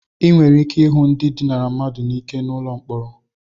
Ị nwere ike ịhụ ndị dinara ndi mmadu n'ike n'ụlọ mkpọrọ.